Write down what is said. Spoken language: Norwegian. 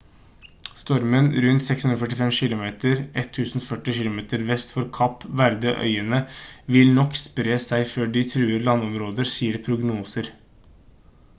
stormen rundt 645 kilometer 1040 kilometer vest for kapp verde-øyene vil nok spre seg før de truer landområder sier prognoser